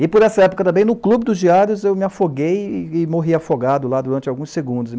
E por essa época também no Clube dos Diários eu me afoguei e morri afogado lá durante alguns segundos.